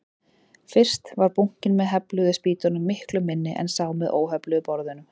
Fyrst var bunkinn með hefluðu spýtunum miklu minni en sá með óhefluðu borðunum.